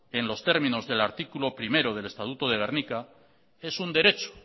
en los términos del artículo primero del estatuto de gernika es un derecho